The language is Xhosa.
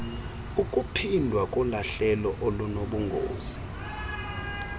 ukuphindwa kolahlelo olunobungozi